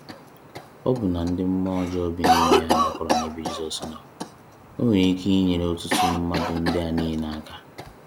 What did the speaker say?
Ọbụna ndị mmụọ ọjọọ bi n’ime ha gbakọrọ n’ebe Jizọs nọ. Ọ nwere ike inyere ọtụtụ mmadụ ndị a niile aka?